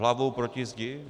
Hlavou proti zdi?